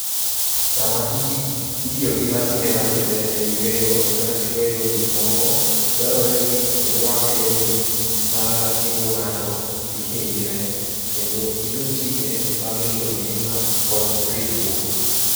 Sama itiyo gi masinde makende e yweyo kata chweyo gik moko, dwarore ni irwak lewni ma geng'o ng'ato kik hinyre, kendo iluw chike mag rito ngima kod ritruok.